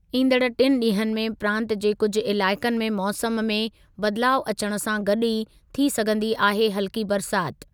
ईंदड़ टिनि ॾींहनि में प्रांतु जे कुझु इलाइक़नि में मौसमु में बदलाउ अचण सां गॾु ई, थी सघंदी आहे हल्की बरसाति।